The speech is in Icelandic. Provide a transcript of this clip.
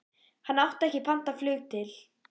Hann átti ekki pantað flug til